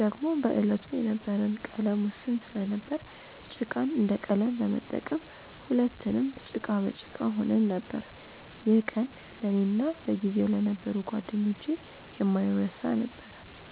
ደግሞም በዕለቱ የነበረን ቀለም ውስን ስለነበር ጭቃን እንደ ቀለም በመጠቀም ሁለትንም ጭቃ በጭቃ ሆነን ነበር። ይህ ቀን ለእኔ እና በጊዜው ለነበሩ ጓደኞቼ የማይረሳ ነበር።